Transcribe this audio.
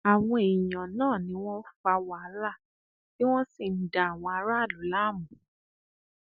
àwọn èèyàn náà ni wọn fa wàhálà tí wọn sì ń da àwọn aráàlú láàmú